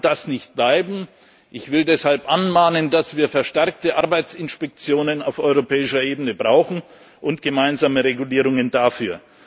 So kann das nicht bleiben, ich will deshalb anmahnen, dass wir verstärkte Arbeitsinspektionen auf europäischer Ebene brauchen und gemeinsame Regulierungen